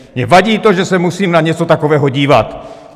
Mně vadí to, že se musím na něco takového dívat!